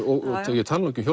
og ég tala nú ekki um